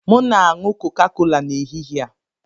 M na-aṅụ Coca-Cola n'ehihie a.